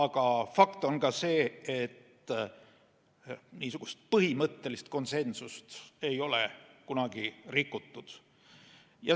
Aga fakt on see, et põhimõttelist konsensust ei ole kunagi rikutud.